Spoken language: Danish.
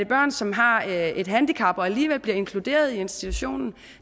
børn som har et et handicap og alligevel bliver inkluderet i institutionen